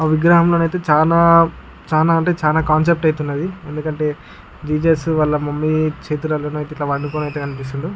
అవి విగ్రహంలోనైతే చాలా చాలా అంటే చాలా కాన్సెప్ట్ అవుతున్నది. ఎందుకంటే జీసస్ వాళ్ళ మమ్మీ చేతులలో ఐతే ఎట్లా పడుకున్నట్లు కనిపిస్తుండు.